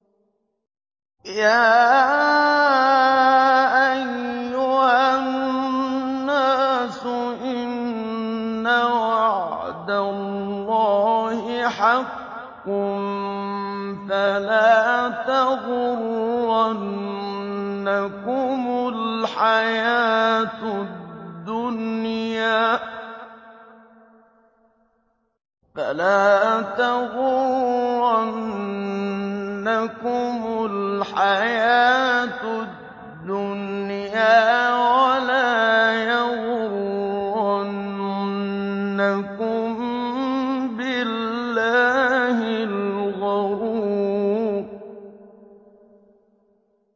يَا أَيُّهَا النَّاسُ إِنَّ وَعْدَ اللَّهِ حَقٌّ ۖ فَلَا تَغُرَّنَّكُمُ الْحَيَاةُ الدُّنْيَا ۖ وَلَا يَغُرَّنَّكُم بِاللَّهِ الْغَرُورُ